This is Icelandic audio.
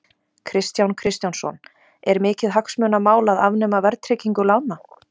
Kristján Kristjánsson: Er mikið hagsmunamál að afnema verðtryggingu lána?